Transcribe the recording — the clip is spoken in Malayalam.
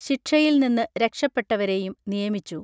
ശിക്ഷയിൽനിന്നു രക്ഷപ്പെട്ടവരെയും നിയമിച്ചു